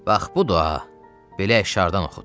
Bax bu da, belə əşşardan oxut.